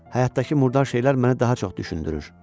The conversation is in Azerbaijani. Həyatdakı murdar şeylər məni daha çox düşündürür.